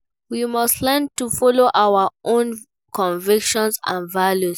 We must learn to follow our own convictions and values.